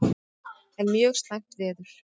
Enn mjög slæmt veður